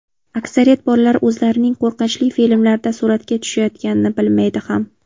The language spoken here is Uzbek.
Aksariyat bolalar o‘zlarining qo‘rqinchli filmlarda suratga tushayotganini bilmaydi ham.